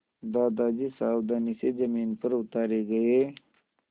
दादाजी सावधानी से ज़मीन पर उतारे गए